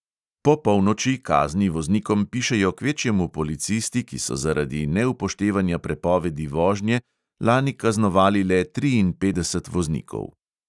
Po polnoči kazni voznikom pišejo kvečjemu policisti, ki so zaradi neupoštevanja prepovedi vožnje lani kaznovali le triinpetdeset voznikov.